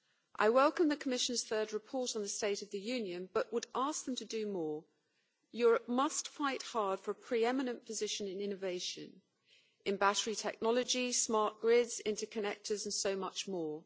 I welcome the Commission's third report on the state of the Union, but would ask them to do more. Europe must fight hard for a pre-eminent position in innovation, in battery technology, smart grids, interconnectors and so much more.